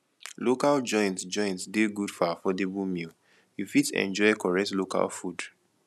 local joints joints dey good for affordable meal you fit enjoy correct local food